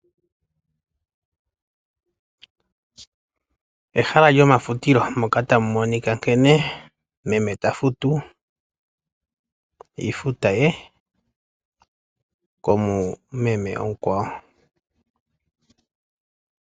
Ehala lyomafutilo moka tamu monika nkene meme ta futu iifuta ye komu meme omukwawo.